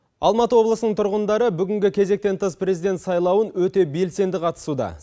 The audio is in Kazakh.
алматы облысының тұрғындары бүгінгі кезетен тыс президент сайлауын өте белсенді қатысуда